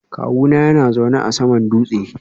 Kawuna yana zaune a saman dutse